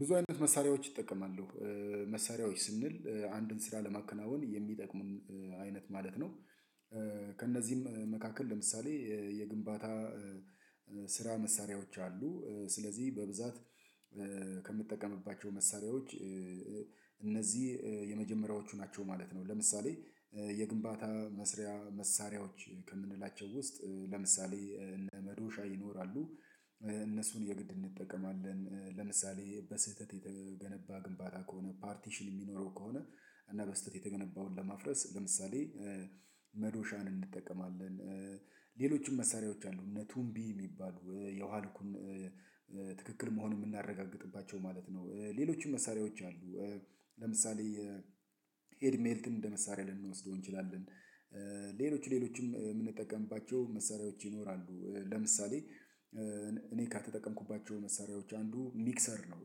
ብዙ አይነት መሳሪያዎች እጠቀማለሁ መሳሪያዎች ስንል አንድን ስራ ለማከናወን የሚጠቅሙን አይነት ማለት ነው። ከእነዚህም መካከል ለምሳሌ የግንባታ ስራ መሳሪያዎች አሉ። ስለዚህ በብዛት ከምጠቀምባቸው መሳሪያዎች እነዚህ የመጀመሪያዎቹ ናቸው ማለት ነው። ለምሳሌ የግንባታ መስሪያ መሳሪያዎች ከምንላቸው ውስጥ ለምሳሌ እነ መዶሻ ይኖራሉ። እነሱን የግድ እንጠቀማለን ለምሳሌ በስህተት የተገነባ ግንባታ ከሆነ ፓርቲሽን የሚኖረው ከሆነ እና በስህተት የተገነባውን ለማፍረስ ለምሳሌ መዶሻን እንጠቀማለን። ሌሎችም መሳሪያዎች አሉ እነ ቱምቢ የሚባሉ የውሃ ልኩን ትክክል መሆኑን የምናረጋግጥባቸው ማለት ነው። ሌሎችም መሳሪያዎች አሉ ለምሳሌ ሄልሜት እንደ መሳሪያ ልንወስደው እንችላለን። ሌሎችም የምንጠቀምባቸው መሳሪያዎች ይኖራሉ ለምሳሌ እኔ ከተጠቀምኩባቸው መሳሪያዎች አንዱ ሚክሰር ነው።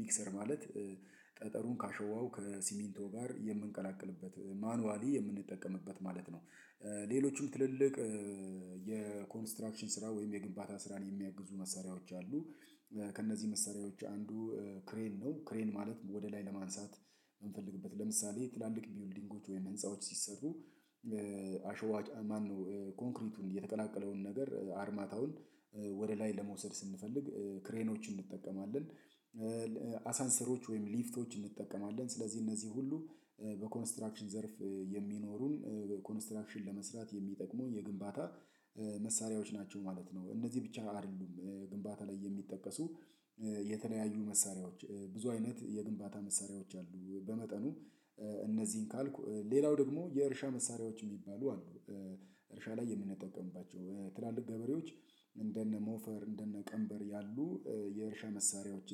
ሚክሰር ማለት ጠጠሩን ካሸዋው ከሲሚንቶ ጋር የምንቀላቅልበት ማኑዋሊ የምንጠቀምበት ማለት ነው። ሌሎችም ትልልቅ የኮንስትራክሽን ስራ ወይም የግንባታ ስራን የሚያግዙ መሳሪያዎች አሉ። ከእነዚህ መሳሪያዎች አንዱ ክሬን ነው ክሬን ማለት ወደ ላይ ለማንሳት የምንፈልግበት ለምሳሌ ትላልቅ ቢውልዲንጎች ወይም ህንፃዎች ሲሰሩ አሸዋ ጫኝ ማነው ኮንክሪቱን የተቀላቀለውን ነገር አርማታውን ወደ ላይ ለመውሰድ ስንፈልግ ክሬኖችን እንጠቀማለን። አሳንሰሮች ወይም ሊፍቶችን እንጠቀማለን ስለዚህ እነዚህ ሁሉ በኮንስትራክሽን ዘርፍ የሚኖሩን ኮንስትራክሽን ለመስራት የሚጠቅሙ የግንባታ መሳሪያዎች ናቸው ማለት ነው። እነዚህ ብቻ አይደሉም ግንባታ ላይ የሚጠቀሱ የተለያዩ መሳሪያዎች ብዙ አይነት የግንባታ መሳሪያዎች አሉ። በመጠኑ እነዚህን ካልኩ ሌላው ደግሞ የእርሻ መሳሪያዎች የሚባሉ አሉ። እርሻ ላይ የምንጠቀምባቸው ትላልቅ ገበሬዎች እንደነ ሞፈር እንደነ ቀንበር ያሉ የእርሻ መሳሪያዎች።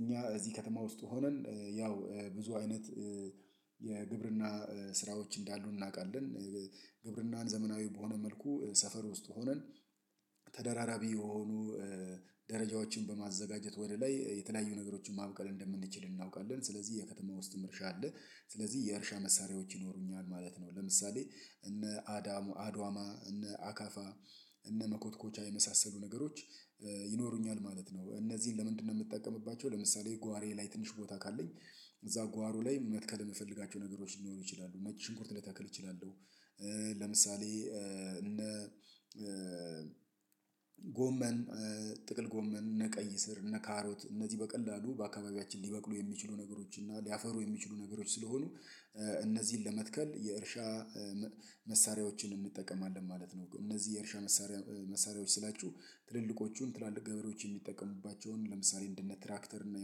እኛ እዚህ ከተማ ውስጥ ሆነን ያው ብዙ አይነት የግብርና ስራዎች እንዳሉ እናውቃለን። ግብርናን ዘመናዊ በሆነ መልኩ ሰፈር ውስጥ ሆነን የሆኑ ደረጃዎችን በማዘጋጀት ወደ ላይ የተለያዩ ነገሮችን ማብቀል እንደምንችል እናውቃለን ስለዚህ የከተማ ውስጥም እርሻ አለ። ስለዚህ የእርሻ መሳሪያዎች ይኖሩኛል ማለት ነው ለምሳሌ እነ አዳ አዷማ እነ አካፋ እነ መኮትኮቻ የመሳሰሉ ነገሮች ይኖሩኛል ማለት ነው። እነዚህን ለምንድነው የምትጠቀምባቸው ለምሳሌ ጓሮዬ ላይ ትንሽ ቦታ ካለኝ እዛ ጓሩ ላይ መትከል የምፈልጋቸው ነገሮች ሊኖሩ ይችላሉ። ነጭ ሽንኩርት ልተክል እችላለሁ ለምሳሌ እነ ጎመን ጥቅል ጎመን እነ ቀይ ስር እነ ካሮት እነዚህ በቀላሉ በአካባቢያችን ሊበቅሉ የሚችሉ ነገሮች እና ሊያፈሩ የሚችሉ ነገሮች ስለሆኑ እነዚህን ለመትከል የእርሻ መሳሪያዎችን እንጠቀማለን ማለት ነው። እነዚህ የእርሻ መሳሪያ መሳሪያዎች ስላቹ ትልልቆቹን ትላልቅ ገበሬዎች የሚጠቀሙባቸውን ለምሳሌ እንደ ትራክተር እና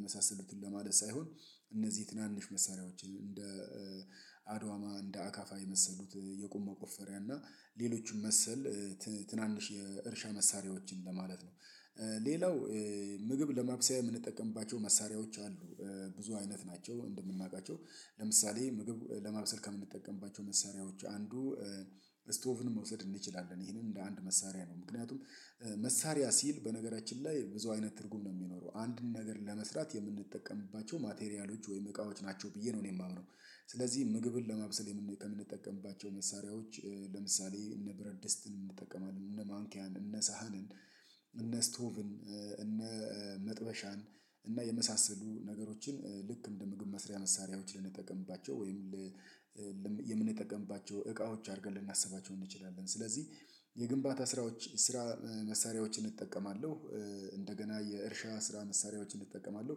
የመሳሰሉትን ለማለት ሳይሆን እነዚህ ትናንሽ መሳሪያዎችን እንደ አድዋማ እንደ አካፋ የመሰሉት የቁም መቆፈሪያ እና ሌሎችም መሰል ትናንሽ የእርሻ መሳሪያዎችን ለማለት ነው። ሌላው ምግብ ለማብሰያ የምንጠቀምባቸው መሳሪያዎች አሉ ብዙ አይነት ናቸው። እንደምናውቃቸው ለምሳሌ ምግብ ለማበሰል ከምንጠቀምባቸው መሳሪያዎች አንዱ ስቶቭን መውሰድ እንችላለን ይሄንን እንደ አንድ መሳሪያ ነው ምክንያቱም መሳሪያ ሲል በነገራችን ላይ ብዙ አይነት ትርጉም ነው የሚኖረው አንድን ነገር ለመስራት የምንጠቀምባቸው ማቴሪያሎች ወይም እቃዎች ናቸው ብዬ ነው እኔ የማምነው። ስለዚህ ምግብን ለማብሰል የምንጠቀምባቸው መሳሪያዎች ለምሳሌ እነ ብረት ድስትን እንጠቀማለን እነ ማንኪያን እነ ሰሀንን እነ ስቶቭን እነ መጥበሻን እና የመሳሰሉ ነገሮችን ልክ እንደ ምግብ መስሪያ መሳሪያዎች ልንጠቀምባቸው ወይም የምንጠቀምባቸው እቃዎች አድርገን ልናስባቸው እንችላለን። ስለዚህ የግንባታ ስራዎች ስራ መሳሪያዎችን እጠቀማለሁ። እንደገና የእርሻ ስራ መሳሪያዎችን እጠቀማለሁ።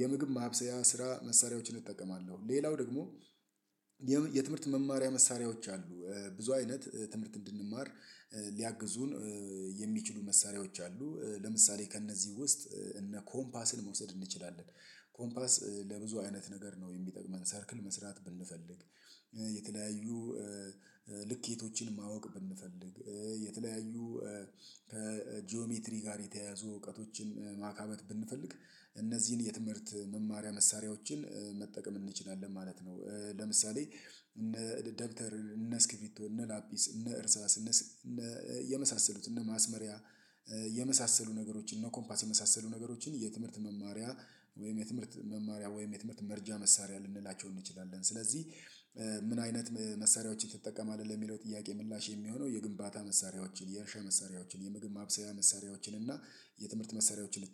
የምግብ ማብሰያ ስራ መሳሪያዎችን እጠቀማለሁ። ሌላው ደግሞ የትምህርት መማሪያ መሳሪያዎች አሉ ብዙ አይነት ትምህርት እንድንማር ሊያግዙን የሚችሉ መሳሪያዎች አሉ። ለምሳሌ ከእነዚህ ውስጥ እነ ኮምፓስን መውሰድ እንችላለን ኮምፓስ ለብዙ አይነት ነገር ነው የሚጠቅመን ሰርክል መስራት ብንፈልግ የተለያዩ ልኬቶችን ማወቅ ብንፈልግ የተለያዩ ከጂኦሜትሪ ጋር የተያያዙ እውቀቶችን ማካበት ብንፈልግ እነዚህን የትምህርት መማሪያ መሳሪያዎችን መጠቀም እንችላለን ማለት ነው። ለምሳሌ እንደ ደብተር እነ ስክፊቶ እነ ላፒስ እነ እርሳስ እነ የመሳሰሉ እነ ማስመሪያ የመሳሰሉ ነገሮችን እነ ኮምፓስ የመሳሰሉ ነገሮችን የትምህርት መማሪያ ወይም የትምህርት መማሪያ ወይም የትምህርት መርጃ መሳሪያ ልንላቸው እንችላለን ስለዚህ። ምን አይነት መሳሪያዎችን ትጠቀማለህ? ለሚለው ጥያቄ ምላሽ የሚሆነው የግንባታ መሳሪያዎችን የእርሻ መሳሪያዎችን የምግብ ማብሰያ መሳሪያዎችን እና የትምህርት መሳሪያዎችን